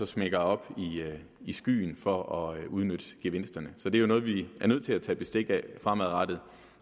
smækker op i skyen for at udnytte gevinsterne så det er jo noget vi er nødt til at tage bestik af fremadrettet